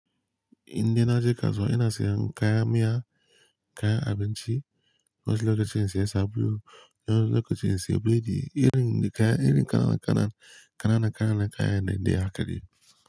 Inda na je kasuwa ina siyan kayan miya, kayan abinci, wasu lokacin sai sabulu, wasu lokacin sai burodi, irin, kayan, irin ƙananan, ƙananan kayan ne haka dai.